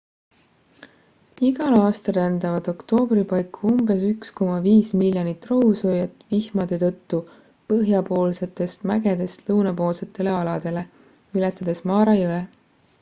igal aastal rändavad oktoobri paiku umbes 1,5 miljonit rohusööjat vihmade tõttu põhjapoolsetest mägedest lõunapoolsetele aladele ületades mara jõe